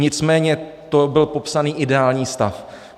Nicméně, to byl popsán ideální stav.